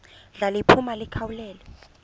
ndla liphuma likhawulele